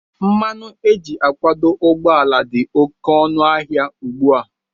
Mmanụ éjị akwọ ụgbọala dị oké ọnụ ahịa ugbua.